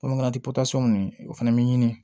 Kɔnɔ ti o fana bɛ ɲini